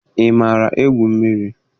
Ị maara egwu mmiri?